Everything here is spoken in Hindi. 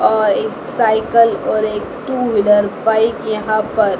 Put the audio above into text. और एक साइकिल और एक टू व्हीलर बाइक यहाँ पर --